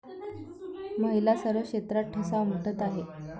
महिला सर्व क्षेत्रात ठसा उमटवत आहेत.